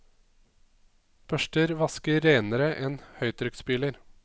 Børster vasker renere enn høytrykkspyler.